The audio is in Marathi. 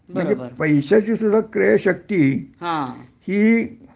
म्हणजे पैश्याची सुद्धा क्रयशक्ती हि